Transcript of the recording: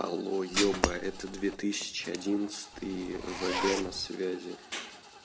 алло ёба это две тысячи одиннадцатый вг на связи